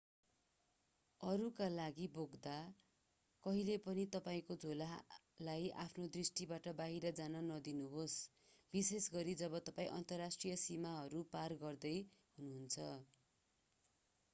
अरूका लागि बोक्दा कहिल्यै पनि तपाईंको झोलालाई आफ्नो दृष्टिबाट बाहिर जान नदिनुहोस् विशेषगरी जब तपाईं अन्तर्राष्ट्रिय सीमाहरू पार गर्दै हुनुहुन्छ